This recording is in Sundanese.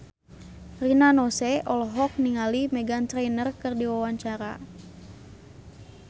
Rina Nose olohok ningali Meghan Trainor keur diwawancara